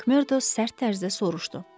Makmerdo sərt tərzdə soruşdu.